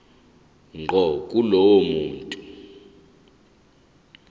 ngqo kulowo muntu